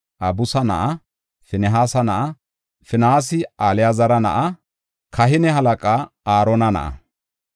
Abisu na7a; Finihaasa na7a; Finihaasi Alaazara na7a; kahine halaqa Aarona na7a.